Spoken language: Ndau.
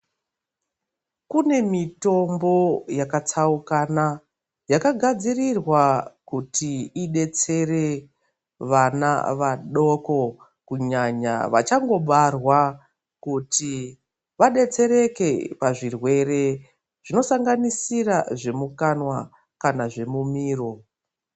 Kune mitombo yakatsaukana yakagadzirirwa kuti ibetsere vana vadoko. Kunyanya vachangobarwa kuti vabetsereke pazvirwere zvinosanganisira zvemukanwa kana zvemumiro.